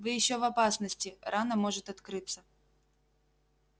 вы ещё в опасности рана может открыться